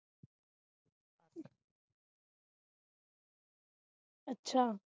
ਅਛਾ